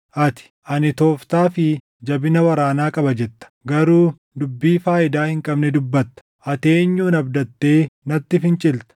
Ati, “Ani tooftaa fi jabina waraanaa qaba” jetta; garuu dubbii faayidaa hin qabne dubbatta. Ati eenyun abdattee natti fincilta?